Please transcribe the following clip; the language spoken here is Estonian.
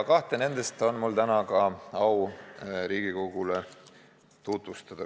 Ja neid on mul täna au ka Riigikogule tutvustada.